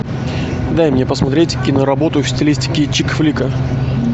дай мне посмотреть киноработу в стилистике чик флика